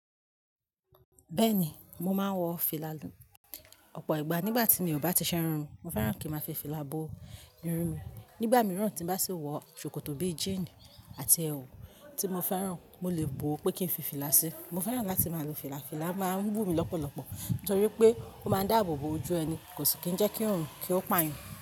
Bẹ́ẹ̀ni, mo máa ń wọ fìlà. Ọ̀pọ̀ ìgbà nígbà tí mi ò bá ti ṣe irun, mo fẹ́ràn kí n máa fi fìlà bo irun mi. Nígbà mìíràn tí bá sì wọ ṣòkòtò bíi jíínì àti ẹwù tí mo fẹ́ràn, mo lè bọ̀ pé kí n fi fìlà sí i. Mo fẹ́ràn láti máa lo fìlà. Fìlà máa ń wùmí lọ́pọ̀lọpọ̀ nítorí pé ó máa ń dáàbò bo ojú ẹni, kò sì kí ń jẹ́ kí òórùn kí ó pààyan.